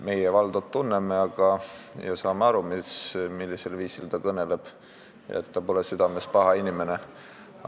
Meie Valdot tunneme ja teame, mil viisil ta kõneleb, ja et ta pole südames paha inimene.